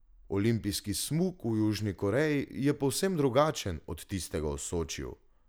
Olimpijski smuk v Južni Koreji je povsem drugačen od tistega v Sočiju.